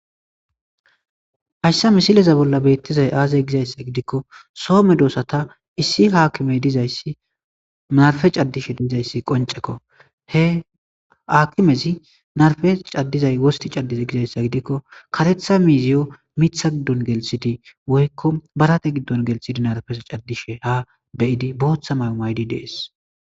Haysa misileza bollan betishe dizay aaze gikon so medosata issi hakimey dizaysi marpe cadishe dizaysi qoncekko. He akimezi marpe cadishe wosti cadize gizaysa gidikoni Mitha giddon gelthidi woykko barate giddon gelthidi ha be'ishe cadidi de'esi.